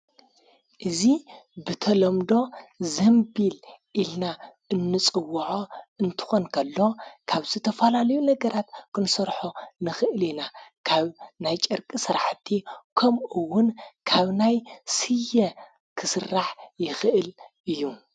እዙ ብተሎምዶ ዘምቢል ኢልና እንጽውዖ እንትኾንከሎ ካብ ዝተፋላልዩ ነገራት ክንሰርሖ ንኽእል የና ካብ ናይ ጨርቂ ሠራሕቲ ከምኡውን ካብ ናይ ሢየ ክሥራሕ ይኽእል እዩ።